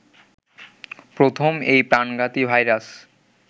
প্রথম এই প্রাণঘাতী ভাইরাস